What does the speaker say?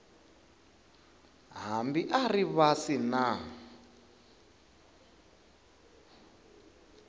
hambi a ri vasi na